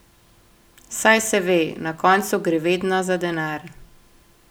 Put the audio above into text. Saj se ve, na koncu gre vedno za denar...